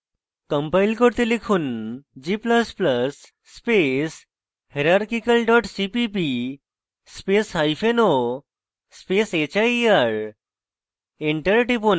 compile করতে লিখুন g ++ space hierarchical dot cpp spaceo space hier